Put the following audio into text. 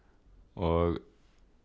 og